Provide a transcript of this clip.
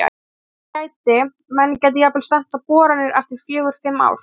Þannig að það gæti, menn gætu jafnvel stefnt á boranir eftir fjögur, fimm ár?